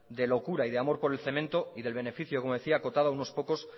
de locura y de amor por el cemento y del beneficio como decía acotado a unos pocos